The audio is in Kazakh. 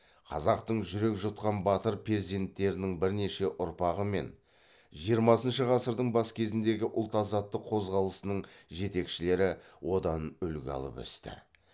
қазақтың жүрек жұтқан батыр перзенттерінің бірнеше ұрпағы мен жиырмасыншы ғасырдың бас кезіндегі ұлт азаттық қозғалысының жетекшілері одан үлгі алып өсті